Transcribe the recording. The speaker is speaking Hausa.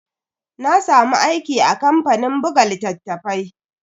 Na samu aiki a kamfanin buga littatafai.